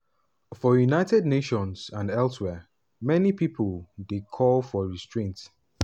for united nations and elsewhere many pipo dey calls for restraint.